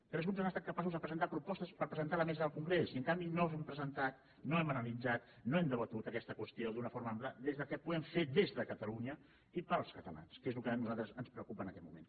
tres grups han estat capaços de presentar propos·tes per presentar a la mesa del congrés i en canvi no s’ha presentat no hem analitzat no hem debatut aquesta qüestió d’una forma ampla des del que pu·guem des de catalunya i per als catalans que és el que a nosaltres ens preocupa en aquest moment